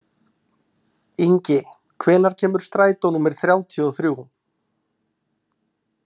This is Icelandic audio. Ingi, hvenær kemur strætó númer þrjátíu og þrjú?